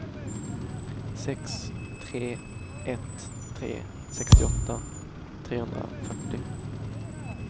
sex tre ett tre sextioåtta trehundrafyrtio